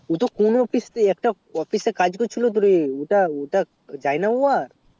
ও কোনো একটা office এ কাজ করছিলো তোরে ওটা আর যায়না রে